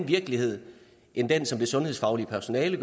virkelighed end den som det sundhedsfaglige personale